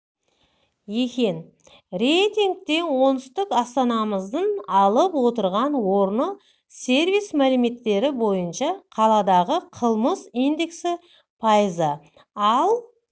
екен рейтингте оңтүстік астанамыздың алып отырған орны сервис мәліметтері бойынша қаладағы қылмыс индексі пайыз ал